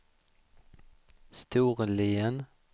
Storlien